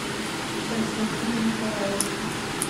константина николаевича